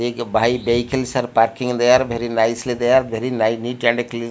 bi vehicles are parking there very nicely there very ni neat and clean.